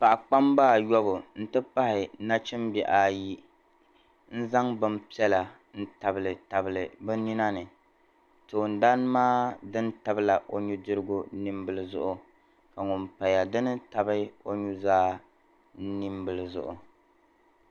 Paɣ'kpamba ayɔbu n ti pahi nachimbihi ayi n zaŋ bɛ piɛla tabili tabili bɛ ni nani tooni dani maa dini tabila o nudirigu nimbili zuɣu ka ŋuni paya din tabi o nuzaa nimbili zuɣu.